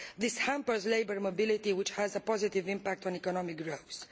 This hampers labour mobility, which has a positive impact on economic growth.